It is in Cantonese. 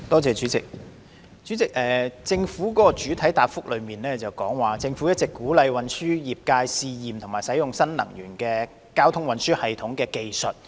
主席，局長的主體答覆提及，政府一直鼓勵運輸業界試驗及使用新能源運輸技術。